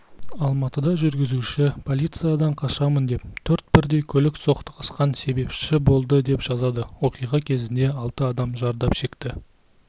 алматыда жүргізушісі полициядан қашамын деп төрт бірдей көлік соқтығысқан себепші болды деп жазады оқиға кезінде алты адам зардап шекті